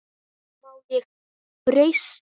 Má ég breyta?